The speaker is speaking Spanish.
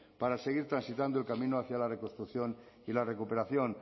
para seguir transitando el camino hacia la reconstrucción y la recuperación